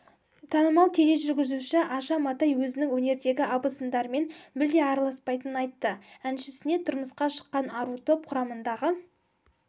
танымал тележүргізуші аша матай өзінің өнердегі абысындарымен мүлде араласпайтынын айтты әншісіне тұрмысқа шыққан ару топ құрамындағы